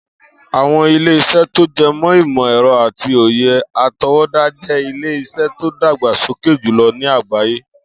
Àwo̩n ilé-isé̩ tó je̩ mó̩ ìmò̩-è̩ro̩ àti òye àto̩wó̩dá je̩ ilé-is̩é̩ tó ń dàgbà sókè jùlo̩ ní àgbáyé